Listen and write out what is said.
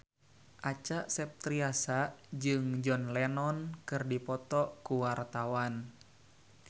Acha Septriasa jeung John Lennon keur dipoto ku wartawan